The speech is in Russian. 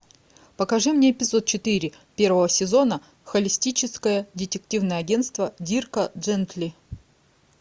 покажи мне эпизод четыре первого сезона холистическое детективное агентство дирка джентли